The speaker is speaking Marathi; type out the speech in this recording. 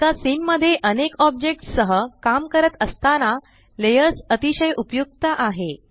एका सीन मध्ये अनेक ऑब्जेक्ट्स सह काम करत असताना लेयर्स अतिशय उपयुक्त आहे